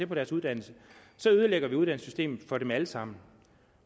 på deres uddannelse ødelægger vi uddannelsessystemet for dem alle sammen